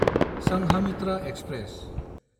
Sanghamitra express